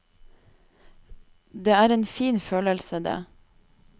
Det er en fin følelse, det.